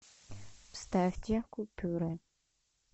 вставьте купюры